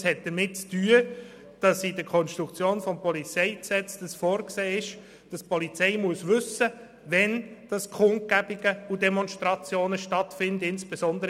Es hat damit zu tun, dass in der Konstruktion des PolG vorgesehen ist, dass die Polizei wissen muss, wann Kundgebungen und Demonstrationen stattfinden.